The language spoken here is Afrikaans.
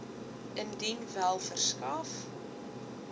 indien wel verskaf